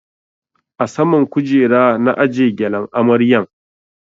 A saman kujera na aje gyalen amaryan